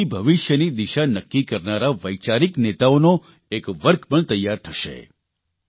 તેનાથી ભવિષ્યની દિશા નક્કી કરનારા વૈચારિક નેતાઓનું એક વર્ગ પણ તૈયાર થશે